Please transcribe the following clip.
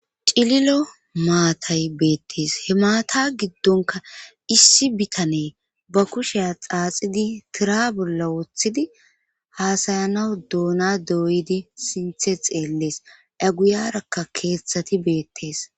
Cililo maatay beettes he maata giddonka issi bitane ba kusheya xaaxidi tira bolla woththidi haasayanaw doona dooydi sinthe xeellees aguyarakka keeththati beettees.